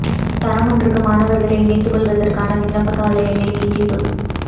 தரம் ஒன்றுக்கு மாணவர்களை இணைத்துக் கொள்வதற்கான விண்ணப்ப கால எல்லை நீடிப்பு